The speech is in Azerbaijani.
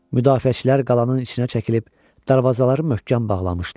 Müdafiəçilər qalanın içinə çəkilib darvazaları möhkəm bağlamışdılar.